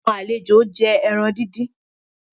Àwọn àlejó jé èràn dín dín.